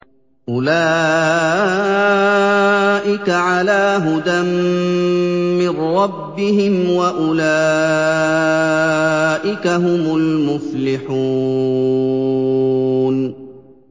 أُولَٰئِكَ عَلَىٰ هُدًى مِّن رَّبِّهِمْ ۖ وَأُولَٰئِكَ هُمُ الْمُفْلِحُونَ